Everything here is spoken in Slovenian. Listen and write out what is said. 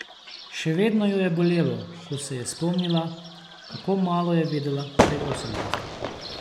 Še vedno jo je bolelo, ko se je spomnila, kako malo je vedela pri osemnajstih.